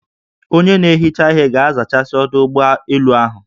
Onye na-ehicha ihe ga-azachasị ọdụ ụgbọ elu ahụ